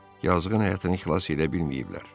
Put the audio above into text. Yazıqın həyatını xilas edə bilməyiblər.